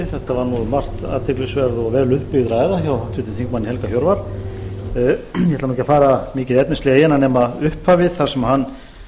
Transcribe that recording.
athyglisverð og vel uppbyggð ræða hjá háttvirtum þingmanni helga hjörvar ég ætla ekki að fara mikið efnislega í hana nema upphafið þar sem hann